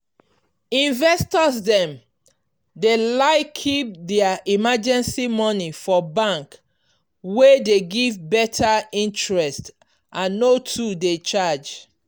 investor dem dey like keep their emergency money for bank wey dey give better interest and no too dey charge.